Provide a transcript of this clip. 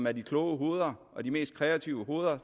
er de kloge hoveder og de mest kreative hoveder